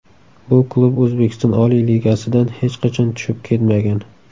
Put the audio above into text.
Bu klub O‘zbekiston Oliy Ligasidan hech qachon tushib ketmagan.